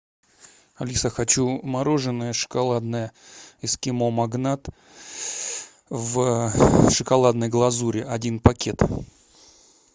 алиса хочу мороженое шоколадное эскимо магнат в шоколадной глазури один пакет